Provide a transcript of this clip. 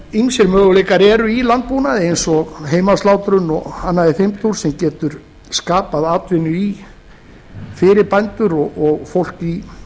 ýmsir möguleikar eru í landbúnaði eins og heimaslátrun og annað í þeim dúr sem getur skapað atvinnu fyrir bændur og fólk í